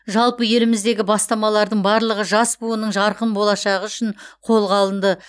жалпы еліміздегі бастамалардың барлығы жас буынның жарқын болашағы үшін қолға алынды